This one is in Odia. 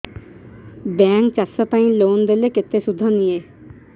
ବ୍ୟାଙ୍କ୍ ଚାଷ ପାଇଁ ଲୋନ୍ ଦେଲେ କେତେ ସୁଧ ନିଏ